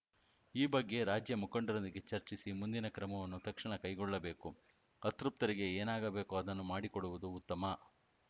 ಈ ಬಗ್ಗೆ ರಾಜ್ಯ ಮುಖಂಡರೊಂದಿಗೆ ಚರ್ಚಿಸಿ ಮುಂದಿನ ಕ್ರಮವನ್ನು ತಕ್ಷಣ ಕೈಗೊಳ್ಳಬೇಕು ಅತೃಪ್ತರಿಗೆ ಏನಾಗಬೇಕೋ ಅದನ್ನು ಮಾಡಿಕೊಡುವುದು ಉತ್ತಮ